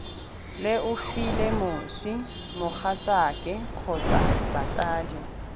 leofile moswi mogatsaake kgotsa batsadi